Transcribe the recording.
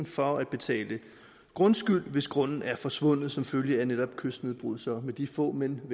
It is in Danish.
for at betale grundskyld hvis vedkommendes grund er forsvundet som følge af netop kystnedbrydning så med de få men